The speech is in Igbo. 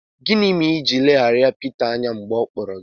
Gịnị mere i ji leghara Pita anya mgbe ọ kpọrọ gị?